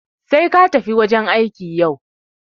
Sai katafi wajan aiki yau.